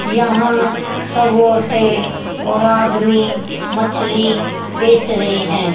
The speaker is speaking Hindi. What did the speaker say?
यहां सब औरते और आदमी मछली बेच रहे हैं।